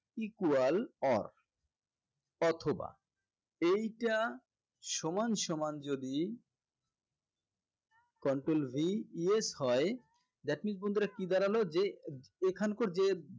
equal or অথবা এইটা সমানসমান যদি control V yes হয় that means বন্ধুরা কি দাঁড়ালো যে এখানকার যে